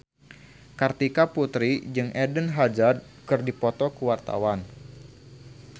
Kartika Putri jeung Eden Hazard keur dipoto ku wartawan